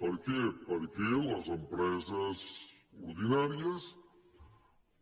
per què perquè les empreses ordinàries